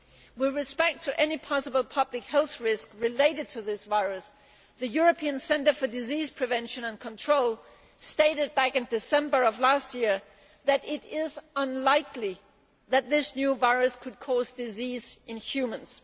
With respect to any possible public health risk related to this virus, the European Centre for Disease Prevention and Control stated in December of last year that it is unlikely that this new virus could cause disease in humans.